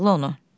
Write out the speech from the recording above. Bağlı onu.